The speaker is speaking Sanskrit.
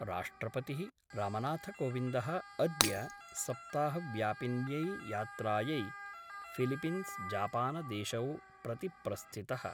राष्ट्रपतिः रामनाथकोविन्दः अद्य सप्ताहव्यापिन्यै यात्रायै फिलिपिंसजापानदेशौ प्रति प्रस्थितः।